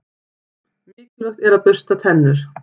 Mikilvægt er að bursta tennur.